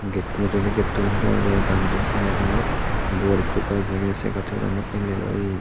mujungedi gate u hulo age r bangedi side ot bor ekku gaj age se gachu pada ni el el oyi.